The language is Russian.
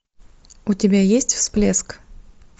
у тебя есть всплеск